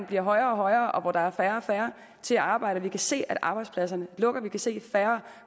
bliver højere og højere og hvor der er færre og færre til at arbejde vi kan se at arbejdspladserne lukker vi kan se at der